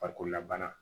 Farikolola bana